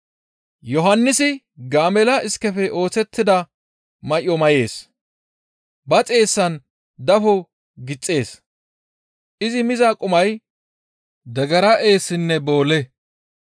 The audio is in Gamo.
Yohannisi gaamella iskefe oosettida may7o may7ees. Ba xeessan dafo gixxees; izi miza qumay degera eessinne boole.